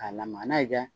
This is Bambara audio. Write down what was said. K'a lamaga n'a ye